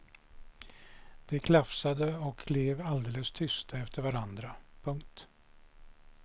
De klafsade och klev alldeles tysta efter varann. punkt